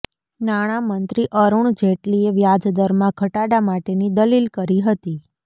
નાણાંમંત્રી અરૂણ જેટલીએ વ્યાજદરમાં ઘટાડા માટેની દલીલ કરી હતી